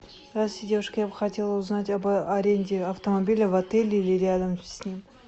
здравствуйте девушка я бы хотела узнать об аренде автомобиля в отеле или рядом с ним